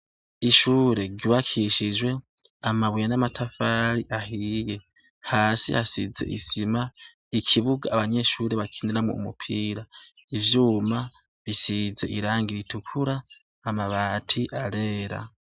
Ishure ryubakishijwe n'amabuye n'amatafari ahiye, hasi hasize isima n'ikibuga abanyeshure bakiniramwo umupira. Ivyuma bisize irangi ritukura, amabati arera.